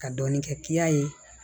Ka dɔɔnin kɛ ye